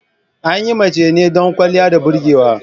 An yi mace ne don ƙwaliya da burgewa.